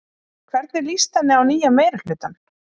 Hvernig líst henni á nýja meirihlutann?